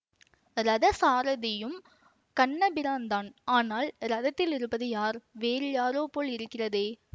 ரதசாரதியும் கண்ணபிரான் தான் ஆனால் ரதத்தில் இருப்பது யார் வேறு யாரோ போல் இருக்கிறதே